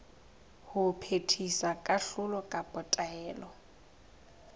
ho phethisa kahlolo kapa taelo